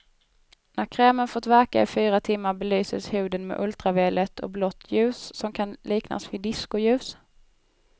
När krämen fått verka i fyra timmar belyses huden med ultraviolett och blått ljus, som kan liknas vid diskoljus.